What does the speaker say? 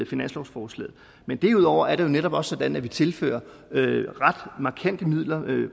finanslovsforslaget men derudover er det jo netop også sådan at vi tilfører ret markante midler